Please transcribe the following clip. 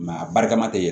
a barikama tɛ ye